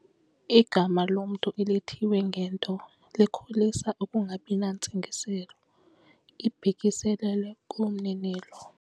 Igama lomntu elithiywe ngento likholisa ukungabi nantsingiselo ibhekiselele kumninilo.